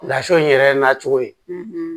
Lasɔ in yɛrɛ nacogo ye